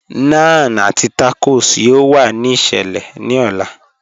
Naan àti tacos yọ̀ò wà ní ìṣẹlẹ̀ ní ò̩là.